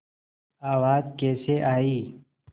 आवाज़ कैसे आई